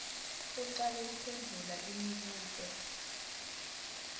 ucale kuphendvula imibuto